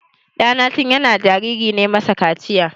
Ɗana tin yana jariri na masa kaciya.